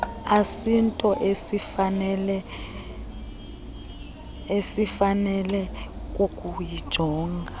asinto esifanele kukuyijonga